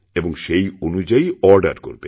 এবং সেই অনুযায়ীঅর্ডার করবে